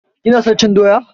ka / ki na son cin doya?